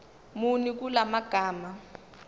muni kula magama